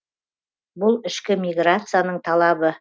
бұл ішкі миграцияның талабы